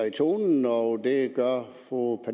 i tonen og det gør fru